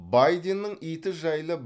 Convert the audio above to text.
байденнің иті жайлы